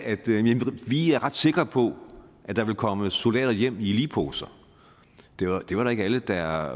vi er ret sikre på at der vil komme soldater hjem i ligposer det var det var ikke alle der